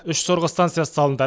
үш сорғы станциясы салынды